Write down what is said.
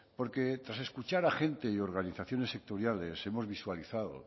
porque tras escuchar a gente y organizaciones sectoriales hemos visualizado